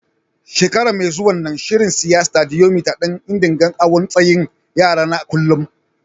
Shekara mai zuwa, n'na shirin siya Stadiyomitar dan n'dinga awon tsayin yara na kullum.